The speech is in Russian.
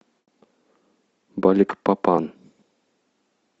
баликпапан